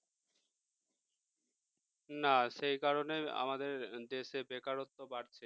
না সেই কারণে আমাদের দেশে বেকারত্ব বাড়ছে